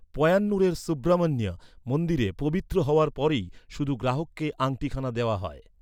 পয়্যান্নুরের সুব্রামণ্য মন্দিরে পবিত্র হওয়ার পরেই শুধু গ্রাহককে আংটিখানা দেওয়া হয়।